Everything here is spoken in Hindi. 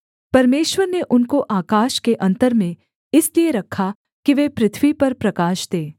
परमेश्वर ने उनको आकाश के अन्तर में इसलिए रखा कि वे पृथ्वी पर प्रकाश दें